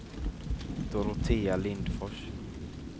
Dorotea Lindfors